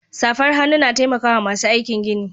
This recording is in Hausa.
Safar hannu na taimakawa masu aikin gini.